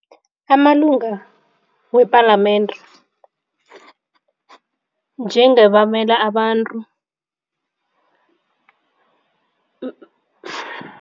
Amalunga wepalamende njengabamela abantu